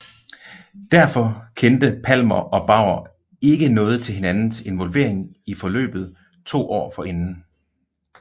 Derfor kendte Palmer og Bauer ikke noget til hinandens involvering i forløbet to år forinden